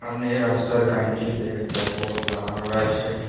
সামনে রাস্তার কাইনটিতে একটা বোট লাগানো রয়েছে।